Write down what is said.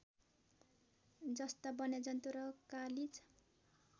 जस्ता वन्यजन्तु र कालिज